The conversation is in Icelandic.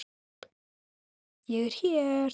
Ég er hér!